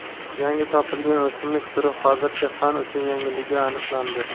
yangi topilgan o‘simlik turi hozircha fan uchun yangiligi aniqlandi.